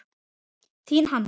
Þín, Hanna.